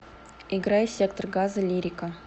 играй сектор газа лирика